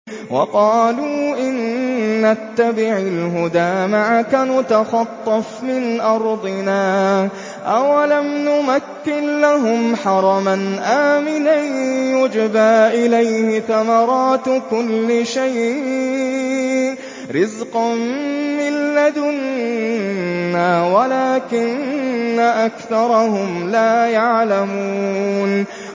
وَقَالُوا إِن نَّتَّبِعِ الْهُدَىٰ مَعَكَ نُتَخَطَّفْ مِنْ أَرْضِنَا ۚ أَوَلَمْ نُمَكِّن لَّهُمْ حَرَمًا آمِنًا يُجْبَىٰ إِلَيْهِ ثَمَرَاتُ كُلِّ شَيْءٍ رِّزْقًا مِّن لَّدُنَّا وَلَٰكِنَّ أَكْثَرَهُمْ لَا يَعْلَمُونَ